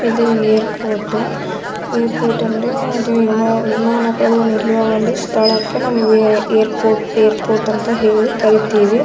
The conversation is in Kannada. ಇದು ಏರ್ಪೋರ್ಟ್ ಏರ್ಪೋರ್ಟ್ ಅಂದ್ರೆ ಅದು ವಿಮಾನ್‌ ವಿಮಾನಗಳು ನಿಲ್ಲುವ ಒಂದು ಸ್ಥಳಕ್ಕೆ ಏರ್ಪೋರ್ಟ್ಏರ್ಪೋರ್ಟ್ಅಂತ ಹೇಳಿ ಕರೀತೀವಿ.